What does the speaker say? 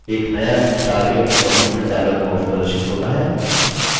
एक नया target in document dialog प्रदर्शित होता है